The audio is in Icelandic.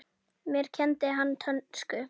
Mér kenndi hann dönsku.